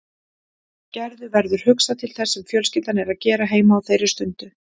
Gerði verður hugsað til þess sem fjölskyldan er að gera heima á þeirri stundu.